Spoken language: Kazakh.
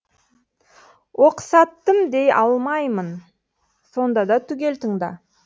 оқсаттым дей алмаймын сонда да түгел тыңда